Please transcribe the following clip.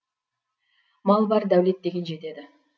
мал бар дәулет деген жетеді